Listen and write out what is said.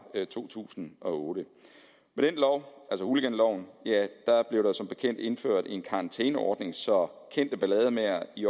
to tusind og otte med hooliganloven blev der som bekendt indført en karantæneordning så kendte ballademagere i